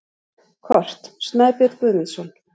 Kort: Snæbjörn Guðmundsson.